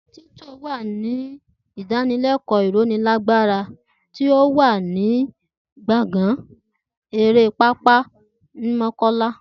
Titó wà ní idanilẹkọ ironilagbara tí o wà ní gbòngàn eré pápá ni mọ́kọ́lá